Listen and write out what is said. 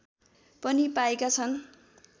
पनि पाएका छन्